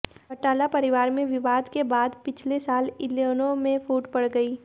चौटाला परिवार में विवाद के बाद पिछले साल इनेलो में फूट पड़ गयी